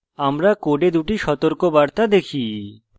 আমরা code দুটি সতর্কবার্তা দেখি